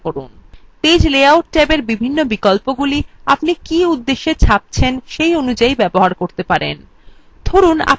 page layout ট্যাবের বিভিন্ন বিকল্পগুলি আপনি কী উদ্দেশ্যে ছাপছেন সেই অনুযাই ব্যবহার করতে পারেন